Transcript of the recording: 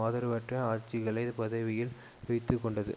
ஆதரவற்ற ஆட்சிகளை பதவியில் வைத்து கொண்டது